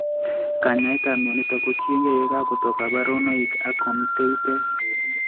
Kanyaetab mionitok kotiegei yakakotok kaborunoik ak komitei tiet